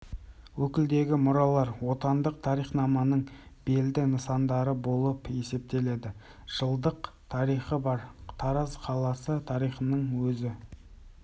өлкедегі мұралар отандық тарихнаманың белді нысандары болып есептеледі жылдық тарихы бар тараз қаласы тарихының өзі